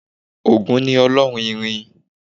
Ògún ni ọlọ́run irin